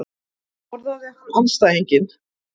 Borðaði hann andstæðinginn?